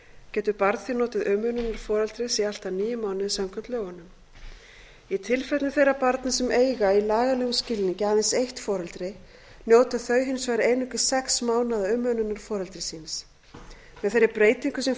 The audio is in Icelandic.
getur barn því notið umönnunar foreldris í allt að níu mánuði samkvæmt lögunum í tilfellum þeirra barna sem eiga í lagalegum skilningi aðeins eitt foreldri njóta þau hins vegar einungis sex mánaða umönnunar foreldris síns með þeirri breytingu sem